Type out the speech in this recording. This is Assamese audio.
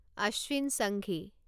অশ্বিন সংঘি